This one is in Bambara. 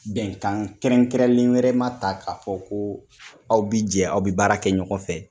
Bɛnkan kɛrɛnkɛrɛnlen wɛrɛma ta k'a fɔ ko aw bi jɛ aw bi baara kɛ ɲɔgɔn fɛ